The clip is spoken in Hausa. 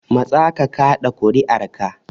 Matsa ka kaɗa kuri'arka.